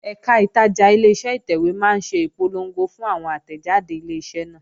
Ẹ̀kà ìtajà Ileṣẹ́ ìtẹ̀wé máa ń ṣe ìpolongo fún àwọn àtẹ̀jáde Ileṣẹ́ náà